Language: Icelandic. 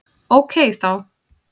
Ókei þá!